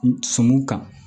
Sumu kan